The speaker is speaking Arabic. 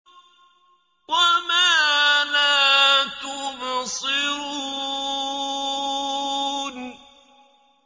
وَمَا لَا تُبْصِرُونَ